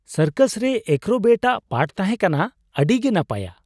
Circus ᱨᱮ acrobat ᱟᱜ ᱯᱟᱴᱷ ᱛᱟᱦᱮᱸ ᱠᱟᱱᱟ ᱟᱹᱰᱤᱜᱮ ᱱᱟᱯᱟᱭᱟ ᱾